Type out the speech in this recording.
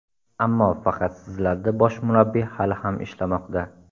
Ammo faqat sizlarda bosh murabbiy hali ham ishlamoqda.